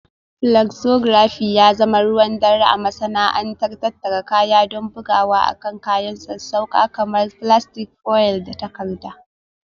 Flexography ya zama ruwan dare a cikin masana'antar tattara kaya don bugawa akan kayan sassauƙa kamar filastik, foil, da takarda